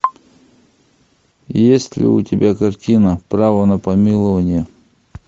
есть ли у тебя картина право на помилование